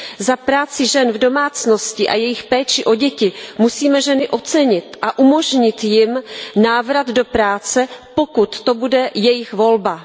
Za práci žen v domácnosti a jejich péči o děti musíme ženy ocenit a umožnit jim návrat do práce, pokud to bude jejich volba.